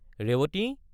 Revati!